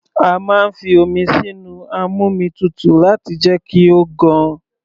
A máa ń fi omi sínu amómitutù láti jẹ́ kí ó gan.